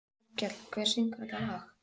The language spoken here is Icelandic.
Rafnkell, hver syngur þetta lag?